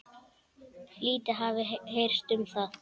Lítið hafi heyrst um það.